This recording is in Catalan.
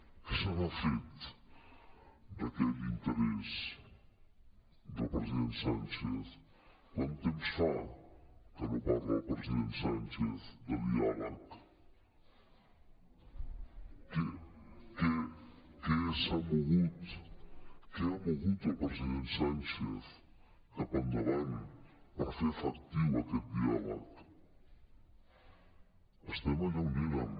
què se n’ha fet d’aquell interès del presi·dent sánchez quan temps fa que no parla el president sánchez de diàleg què s’ha mogut què ha mogut el president sánchez cap endavant per fer efectiu aquest diàleg estem allà on érem